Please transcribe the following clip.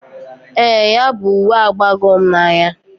Ee, ya bu uwe abago m n"anya.